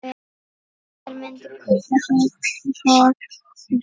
Hver myndi kaupa þau hrogn?